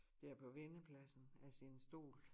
Dér på vendepladsen af sin stol